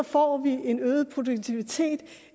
får vi en øget produktivitet